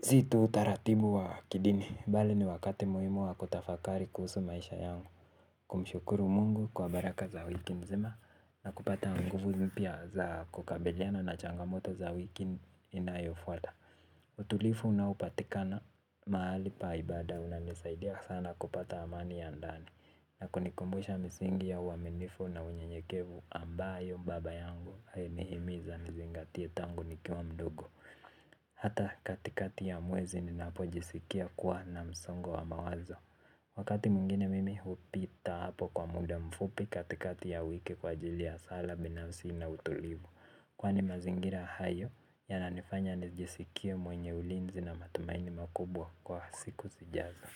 si tu utaratibu wa kidini bali ni wakati muhimu wa kutafakari kuhusu maisha yangu. Kumshukuru Mungu kwa baraka za wiki mzima na kupata nguvu mpya za za kukabiliana na changamoto za wiki inayo fwata. Utulivu na unaopatikana mahali pa ibaada unanisaidia sana kupata amani ya ndani na kunikumbusha misingi ya uaminifu na unyenyekevu ambayo baba yangu alinihimiza nizingatie tangu nikiwa mdogo. Hata katikati ya mwezi ninapo jisikia kuwa na msongo wa mawazo. Wakati mwingine mimi hupita hapo kwa muda mfupi katikati ya wiki kwa ajili ya sala binafsi na utulivu. Kwani mazingira hayo yana nifanya nijisikie mwenye ulinzi na matumaini makubwa kwa siku zijazo.